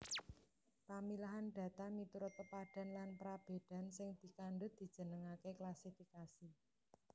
Pamilahan data miturut pepadhan lan prabédan sing dikandhut dijenengaké klasifikasi